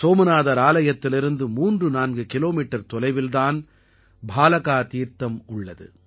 சோமநாதர் ஆலயத்திலிருந்து 34 கிலோமீட்டர் தொலைவில் தான் பாலகா தீர்த்தம் உள்ளது